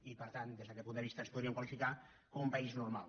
i per tant des d’aquest punt de vista ens podríem qualificar com un país normal